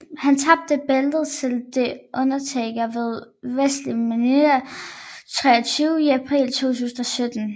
Han tabte bæltet til The Undertaker ved WrestleMania 23 i april 2007